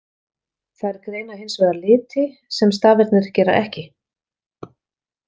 Þær greina hins vegar liti, sem stafirnir gera ekki.